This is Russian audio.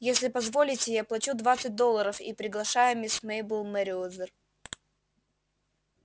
если позволите я плачу двадцать долларов и приглашаю мисс мейбелл мерриуэзер